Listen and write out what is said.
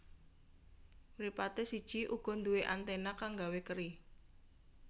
Mripaté siji uga nduwé anténa kang gawé keri